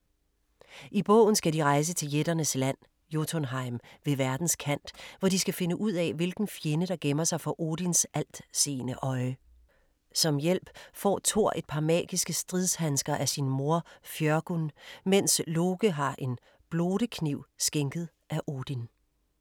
I bogen skal de rejse til jætternes land, Jotunheim ved verdens kant, hvor de skal finde ud af, hvilken fjende der gemmer sig for Odins altseende øje. Som hjælp får Thor et par magiske stridshandsker af sin mor, Fjørgyn, mens Loke har en blote-kniv skænket af Odin.